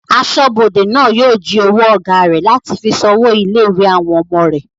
Asọ́bodè náà yóò jí owó ọ̀gá rẹ̀ láti fi san owó ilé-ìwé àwọn ọmọ rẹ̀